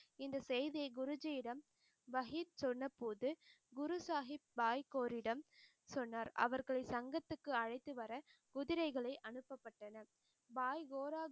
இந்த செய்தியை குருஜியிடம் வகித் சொன்னபோது குரு சாஹிப் பாய் கோரிடம் சொன்னார் அவர்களை சங்கத்துக்கு அழைத்து வர குதிரைகளை அனுப்பப்பட்டனர் பாய் கோரா